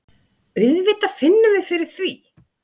Auðvitað finnum við fyrir því.